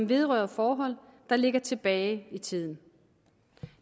vedrører forhold der ligger tilbage i tiden